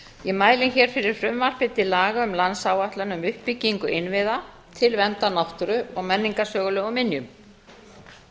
ég mæli fyrir frumvarpi til laga um landsáætlun um uppbyggingu innviða til verndar náttúru og menningarsögulegum minjum